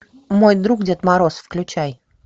мой друг дед мороз включай